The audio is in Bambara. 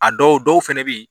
A dɔw dɔw fɛnɛ be yen